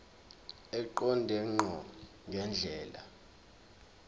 eqonde ngqo ngendlela